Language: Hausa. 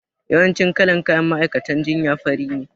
Yawancin kalan kayan ma'aikatan jinya fari ne